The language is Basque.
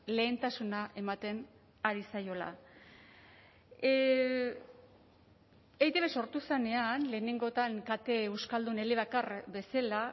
lehentasuna ematen ari zaiola eitb sortu zenean lehenengotan kate euskaldun elebakar bezala